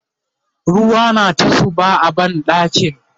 ruwa na ta zuba a banɗakin